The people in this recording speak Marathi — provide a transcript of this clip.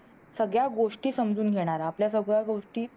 सगळ्या गोष्टी समजून घेणारा आपल्या सगळ्या गोष्टी